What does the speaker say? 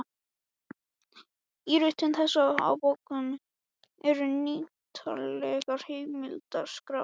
Í ritum þessum og bókum eru ýtarlegar heimildaskrár.